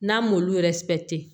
N'an m'olu